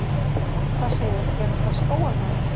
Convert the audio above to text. Hvað segirðu, gerðist hann skógarmaður?